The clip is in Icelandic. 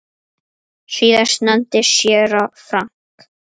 Síðast nefndi séra Frank